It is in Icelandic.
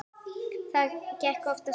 Það gekk oftast vel.